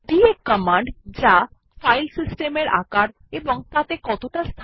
DF command যা file সিস্টেমের size ও তাতে কতটা ফাঁকা আছে ত়া জানায়